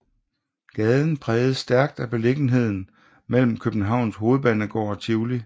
Gaden præges stærkt af beliggenheden mellem Københavns Hovedbanegård og Tivoli